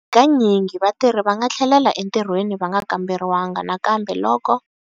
Hi kanyingi, vatirhi va nga tlhelela entirhweni va nga kamberiwanga nakambe loko.